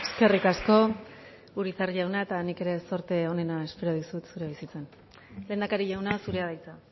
eskerrik asko urizar jauna eta nik ere zorte onena espero dizut zure bizitzan lehendakari jauna zurea da hitza